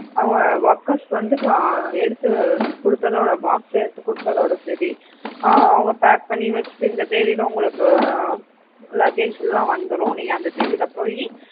அவங்க workers வந்து ஆஹ் எடுத்துக் கொடுத்ததோட box எடுத்து கொடுத்ததோடு சரி ஆஹ் அவங்க pack பண்ணி வச்சுட்டு இந்த தேதியில உங்களுக்கு ஆஹ் luggage எல்லாம் வந்துடும் நீங்க அந்த தேதியில போயி